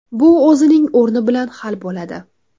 Bu o‘zining o‘rni bilan hal bo‘ladi.